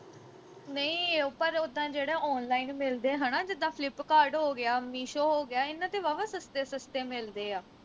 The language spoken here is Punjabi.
ਨਹੀਂ ਪਰ ਉੱਦਾਂ ਜਿਹੜੇ online ਮਿਲਦੇ ਆ ਹਣਾ ਜਿੱਦਾ flipkart ਹੋ ਗਿਆ meesho ਹੋ ਗਿਆ ਇਨ੍ਹਾਂ ਤੇ ਵਾਹਵਾ ਸਸਤੇ ਸਸਤੇ ਮਿਲਦੇ ਆ